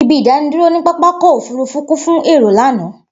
Ibi idaniduro ni papakọ ofurufu kun fun èèro lana.